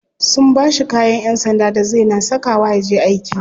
Sun bashi kayan yan sanda da zai na saka wa yaje aiki.